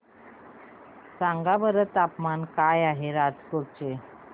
सांगा बरं तापमान काय आहे राजकोट चे